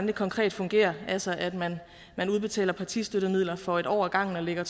det konkret fungerer altså at man udbetaler partistøttemidler for en år ad gangen og lægger